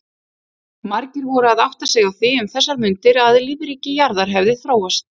Margir voru að átta sig á því um þessar mundir að lífríki jarðar hefði þróast.